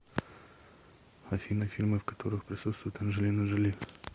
афина фильмы в которых присутствует анджелина джоли